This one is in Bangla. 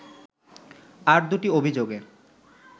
আর দুটি অভিযোগে